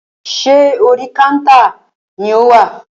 Ṣé orí kántà ni o wà?